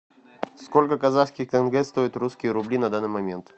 сколько казахских тенге стоят русские рубли на данный момент